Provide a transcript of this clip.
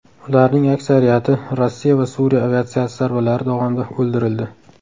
Ularning aksariyati Rossiya va Suriya aviatsiyasi zarbalari davomida o‘ldirildi.